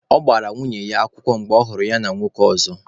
Ọ gbara nwunye ya alụkwaghịm mgbe ọhụrụ ya na nwoke ọzọ.